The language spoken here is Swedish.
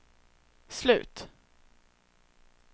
slut